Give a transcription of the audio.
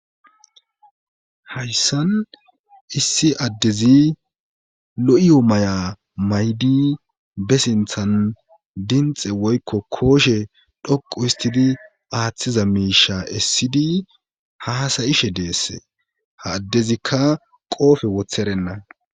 Hayssan issi addezi lo7iyoo maya maydi be sinthan dinxe woykko kooshe dhoqu histidi aaththiza miisha essidi ha hasayishe deesse ha addezikka qoofe wotherenna.